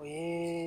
O ye